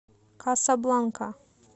касабланка